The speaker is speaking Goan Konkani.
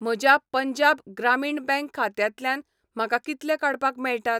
म्हज्या पंजाब ग्रामीण बँक खात्यांतल्यान म्हाका कितले काडपाक मेळटात?